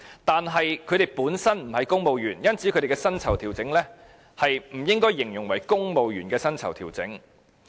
但是，他們本身不是公務員，因此，他們的薪酬調整不應該形容為"公務員薪酬調整"。